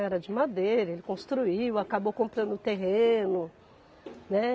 Era de madeira, ele construiu, acabou comprando o terreno, né?